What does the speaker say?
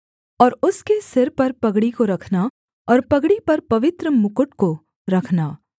और उसके सिर पर पगड़ी को रखना और पगड़ी पर पवित्र मुकुट को रखना